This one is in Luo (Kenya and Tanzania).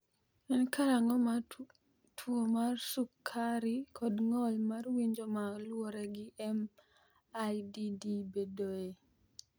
En karang’o ma tuo mar sukari kod ng’ol mar winjo ma luwore gi MIDD bedoe?